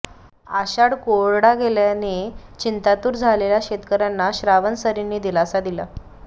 आषाढ कोरडा गेल्याने चिंतातूर झालेल्या शेतकऱ्यांना श्रावण सरींनी दिलासा दिला